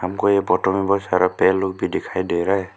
हमको ये फोटो में बहुत सारा पेड़ लोग भी दिखाई दे रहा है।